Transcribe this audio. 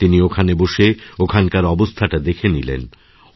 তিনি ওখানে বসেওখানকার অবস্থাটা দেখে নিলেন